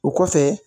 O kɔfɛ